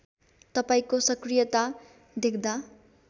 तपाईँको सकृयता देख्दा